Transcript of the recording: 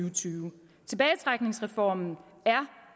og tyve tilbagetrækningsreformen er